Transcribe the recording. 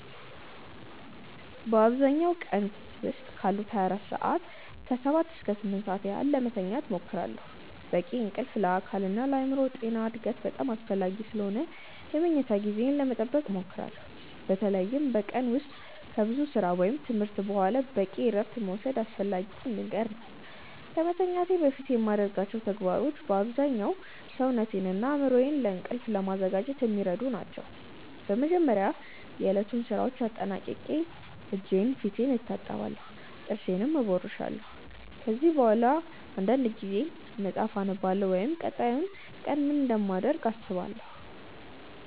በአብዛኛው በቀን ዉስጥ ካሉት 24 ሰዓታት ከ7 እስከ 8 ሰዓት ያህል ለመተኛት እሞክራለሁ። በቂ እንቅልፍ ለአካልና ለአእምሮ ጤና እና እድገት በጣም አስፈላጊ ስለሆነ የመኝታ ጊዜዬን ለመጠበቅ እሞክራለሁ። በተለይም በቀን ውስጥ ከብዙ ሥራ ወይም ትምህርት በኋላ በቂ እረፍት መውሰድ አስፈላጊ ነገር ነው። ከመተኛቴ በፊት የማደርጋቸው ተግባሮች በአብዛኛው ሰውነቴንና አእምሮዬን ለእንቅልፍ ለማዘጋጀት የሚረዱ ናቸው። በመጀመሪያ የዕለቱን ሥራዎች አጠናቅቄ እጄንና ፊቴን እታጠባለሁ፣ ጥርሴንም እቦርሻለሁ። ከዚያ በኋላ አንዳንድ ጊዜ መጽሐፍ አነባለሁ ወይም ቀጣዩን ቀን ምን እንደማደርግ አስባለሁ።